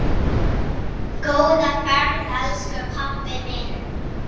Góða ferð elsku pabbi minn.